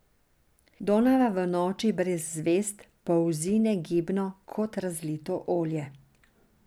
Donava v noči brez zvezd polzi negibno kot razlito olje.